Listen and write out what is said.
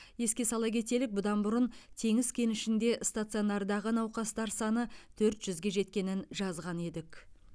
еске сала кетелік бұдан бұрын теңіз кенішінде стационардағы науқастар саны төрт жүзге жеткенін жазған едік